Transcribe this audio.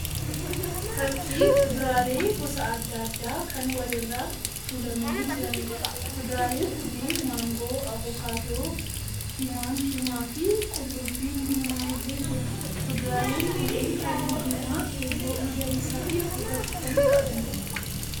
Fakkii kuduraalee gosa adda addaa kan wal irra tuulamanii jiraniidha. Kuduraaleen kunneen: maangoo, avokaadoo, timaantima fi qullubbiin diimaan illee jira. Kuduraaleen kunneen halluu diimaa, keelloo, magariisaa fi gurraacha kan qabaniidha.